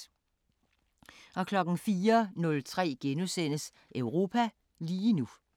04:03: Europa lige nu *